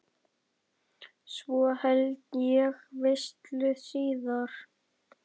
Svo held ég veislu síðar.